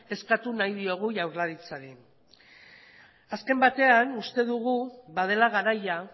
eskatu nahi diogu jaurlaritzari azken batean uste dugu badela garaia